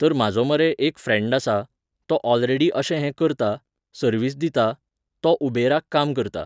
तर म्हाजो मरे एक फ्रँड आसा, तो ऑलरेडी अशें हे करता, सर्विस दिता, तो उबेराक काम करता.